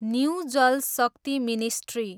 new Jal Shakti ministry